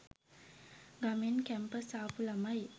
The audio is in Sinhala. ගමෙන් කැම්පස් ආපු ළමයි.